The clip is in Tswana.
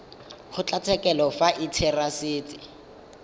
kgotlatshekelo fa e le therasete